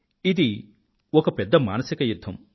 ఇది ఒక పెద్ద మానసిక యుధ్ధం